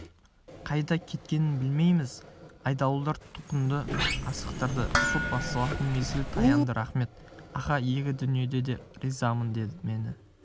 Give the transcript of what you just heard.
қайда кеткенін білмейміз айдауылдар тұтқынды асықтырды сот басталатын мезгіл таянды рақмет аха екі дүниеде ризамын мені